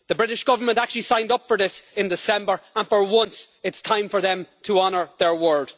The British Government actually signed up for this in December and, for once, it is time for them to honour their word.